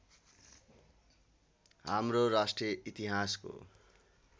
हाम्रो राष्ट्रिय इतिहासको